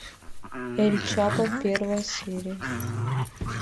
эль чапо первая серия